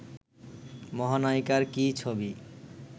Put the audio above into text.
মহানায়িকার কী ছবি